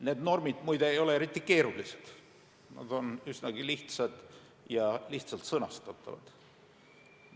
Need normid, muide, ei ole eriti keerulised, nad on üsnagi lihtsad ja lihtsalt sõnastatavad.